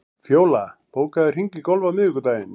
Fjóla, bókaðu hring í golf á miðvikudaginn.